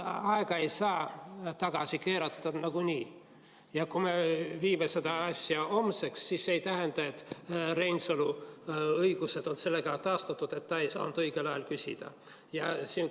Aega ei saa tagasi keerata nagunii ja kui me viime selle asja homseks, siis see ei tähenda, et Reinsalu õigused on sellega taastatud, et ta ei saanud õigel ajal küsida.